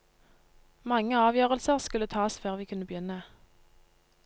Mange avgjørelser skulle tas før vi kunne begynne.